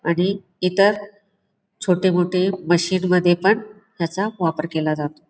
आणि इतर छोटे मोठे मशीन मध्ये पण त्याचा वापर केला जातो.